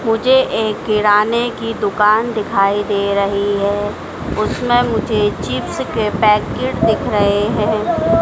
मुझे एक किराने की दुकान दिखाई दे रही है उसमें मुझे चिप्स के पैकेट दिख रहे हैं।